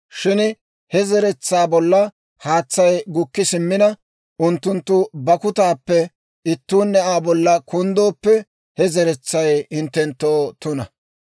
Shin he zeretsaa bolla haatsay gukki simmina, unttunttu bakkutaappe ittuunne Aa bolla kunddooppe, he zeretsay hinttenttoo tuna.